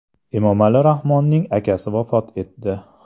Emomali Rahmonning akasi vafot etdi.